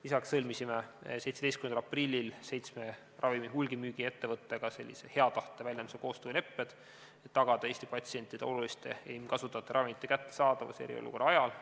Lisaks sõlmisime 17. aprillil seitsme ravimite hulgimüügi ettevõttega sellise hea tahte väljenduse koostööleppe, et tagada Eesti patsientidele oluliste enim kasutatavate ravimite kättesaadavus eriolukorra ajal.